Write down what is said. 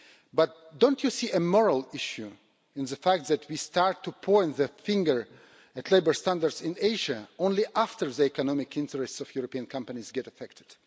But don't you see a moral issue in the fact that we start to point the finger at labour standards in Asia only after the economic interests of European companies get affected?